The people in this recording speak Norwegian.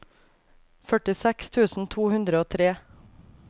førtiseks tusen to hundre og tre